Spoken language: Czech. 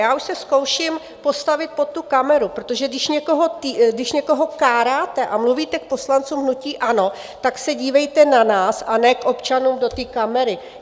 Já už se zkouším postavit pod tu kameru, protože když někoho káráte a mluvíte k poslancům hnutí ANO, tak se dívejte na nás, a ne k občanům do té kamery.